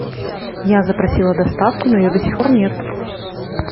я запросила доставку но ее до сих пор нет